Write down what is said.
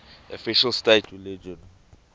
official state religion